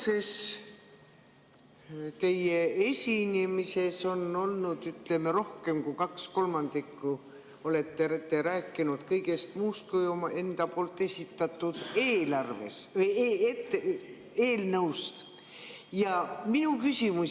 Te olete tänases esinemises rohkem kui kaks kolmandikku rääkinud kõigest muust kui omaenda esitatud eelnõust.